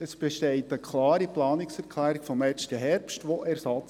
Es gibt eine klare Planungserklärung, die im vergangenen Herbst überwiesen wurde.